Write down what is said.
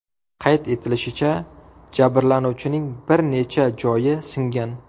Qayd etilishicha, jabrlanuvchining bir necha joyi singan.